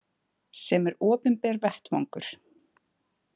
Sem er opinber vettvangur.